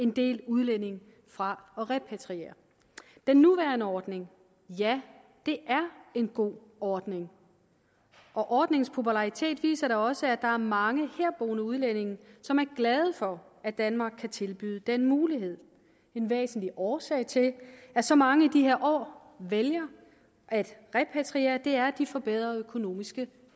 en del udlændinge fra at repatriere den nuværende ordning er en god ordning og ordningens popularitet viser da også at der er mange herboende udlændinge som er glade for at danmark kan tilbyde den mulighed en væsentlig årsag til at så mange i de her år vælger at repatriere er at de får bedre økonomiske